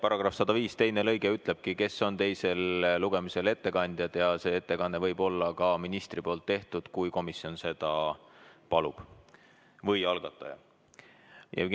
§ 105 lõige 2 ütleb, kes on teisel lugemisel ettekandjad ja et ettekanne võib-olla ka ministri tehtud, kui komisjon või algataja seda palub.